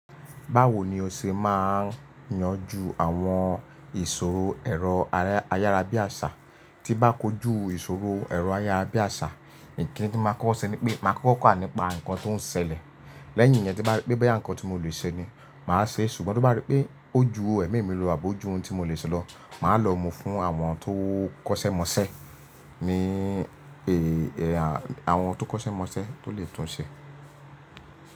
Báwo ni o ṣe máa ń yanjú àwọn ìṣòro ẹ̀rọ ayárabíàṣá tí bá kojú ìṣòro ẹ̀rọ ayárabíàṣá? Ǹkín tí máa kọ́ṣẹ́ ni pé màá kọ́kọ́ kà nípa nǹkan tó ń ṣẹlẹ̀, lẹ́yìn yẹn tí bá rí pé bẹ́ẹ̀ ya nǹkan tí mo lè ṣe ni màá ṣe, ṣùgbọ́n tí bá rí pé ó ju ẹ̀mí mi lo àbò ju ohun tí mo lè ṣe lọ, màá lọ mú fún àwọn tó kọ́ṣẹ́ mọṣẹ́, ni pé àwọn tó kọ́ṣẹ́ mọṣẹ́ tó lè tún un ṣe.